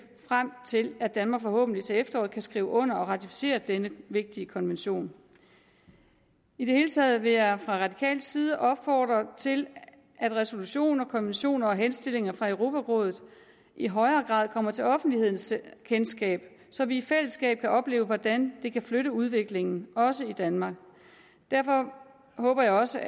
frem til at danmark forhåbentlig til efteråret kan skrive under og ratificere denne vigtige konvention i det hele taget vil jeg fra radikal side opfordre til at resolutioner konventioner og henstillinger fra europarådet i højere grad kommer til offentlighedens kendskab så vi i fællesskab kan opleve hvordan det kan flytte en udvikling også i danmark derfor håber jeg også